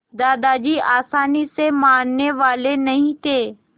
दादाजी आसानी से मानने वाले नहीं थे